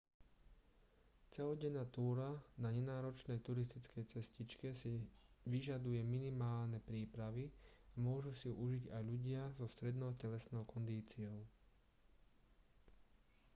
celodenná túra na nenáročnej turistickej cestičke si vyžaduje minimálne prípravy a môžu si ju užiť aj ľudia so strednou telesnou kondíciou